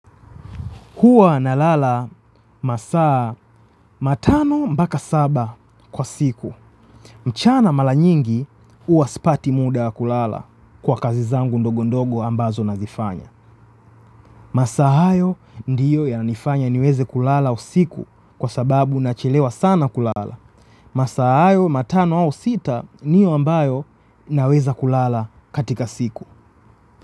Huwa nalala masaa matano mpaka saba kwa siku. Mchana mara nyingi huwa sipati muda wa kulala kwa kazi zangu ndogo ndogo ambazo nazifanya. Masaa hayo ndiyo yananifanya niweze kulala usiku kwa sababu nachelewa sana kulala. Masaa hayo matano au sita ndiyo ambayo naweza kulala katika siku.